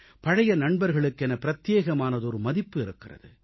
பழைய நண்பர்களுக்கென பிரத்யேகமானதொரு மதிப்பு இருக்கிறது